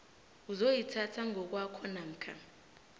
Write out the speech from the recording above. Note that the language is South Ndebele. uzoyithatha ngokwakho namkha